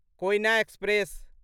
Koyna express